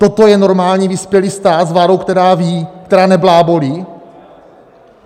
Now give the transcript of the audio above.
Toto je normální vyspělý stát s vládou, která ví, která neblábolí?